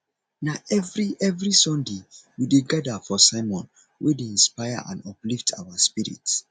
na every every sunday we dey gather for sermon wey dey inspire and uplift our spirits